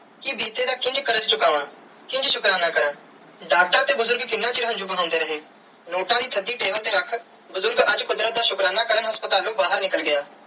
ਕੇ ਬੀਤੇ ਦਾ ਕਿੰਜ ਕਾਰਜ ਚੁਕਾਵੈ ਕਿੰਜ ਸ਼ੁਕਰਾਨਾ ਕਾਰਾ ਡਾਕਟਰ ਤੇ ਬੁਜ਼ਰਗ ਕਿੰਨਾ ਚਿਰ ਹੰਜੂ ਬਹੰਦੇ ਰਹੇ ਨੋਟ ਦੀ ਤੁਹਾਡੀ ਦਿਲ ਤੇ ਰੱਖ ਬੁਜ਼ਰਗ ਅੱਜ ਕੁਦਰਤ ਦਾ ਸ਼ੁਕਰਾਨਾ ਕਾਰਨ ਹਾਸਪ੍ਤਾਲੂ ਬਾਹਿਰ ਨਿਕਲ ਗਿਆ.